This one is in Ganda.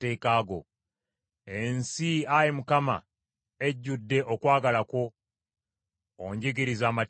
Ensi, Ayi Mukama , ejjudde okwagala kwo; onjigirize amateeka go.